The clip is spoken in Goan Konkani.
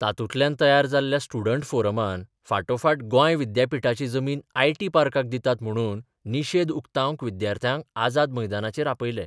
तातूंतल्यान तयार जाल्ल्या स्टुडंट फोरमान फाटोफाट गोंय विद्यापिठाची जमीन आयटी पार्काक दितात म्हणून निशेध उक्ताबंक विद्यार्थ्यांक आझाद मैदानाचेर आपयले.